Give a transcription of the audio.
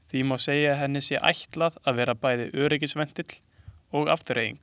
Því má segja að henni sé ætlað að vera bæði öryggisventill og afþreying.